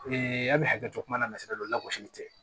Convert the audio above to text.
an bɛ hakɛ to kuma na don lasili tɛ